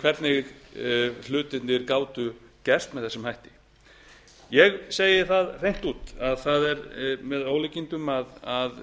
hvernig hlutirnir gátu gerst með þessum hætti ég segi það hreint út að það er með ólíkindum að